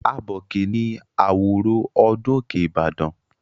Abọ̀kè ni àwòrò ọdún Òkè Ìbàdàn.